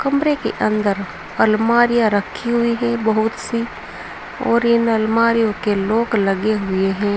कमरे के अंदर अलमारियां रखी हुई है बहुत सी और इन अलमारियों के लॉक लगे हुए हैं।